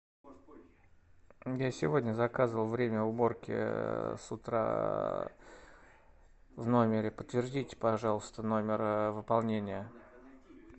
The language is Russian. я сегодня заказывал время уборки с утра в номере подтвердите пожалуйста номер выполнения